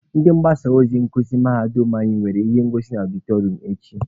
Ndị mgbasa ozi nkuzi mahadum anyị nwere ihe ngosi na ọdịtọrịọm echi.